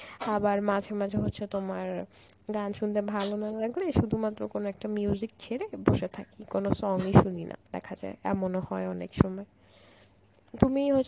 আবার মাঝে মাঝে হচ্ছে তোমার গান শুনতে ভালো না লাগলে শুধুমাত্র কোন একটা ছেড়ে বসে থাকি, কোন song ই শুনি না দেখা যায় এমন হয় অনেক সময়. তুমি হ